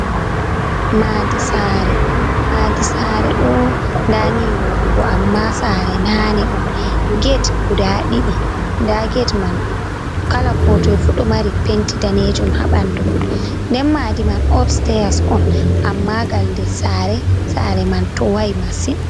Maɗi sare maɗi sare ɗo dani wodugo amma sare nane on get guda ɗidi da get man kala kotoifu ɗo mari penti danejum ha ɓandu den madi sare man opseyas on amma gal nder sare sare man towai masin.